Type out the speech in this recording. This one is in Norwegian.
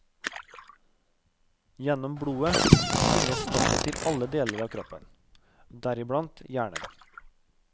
Gjennom blodet bringes stoffet til alle deler av kroppen, deriblant hjernen.